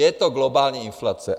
Je to globální inflace.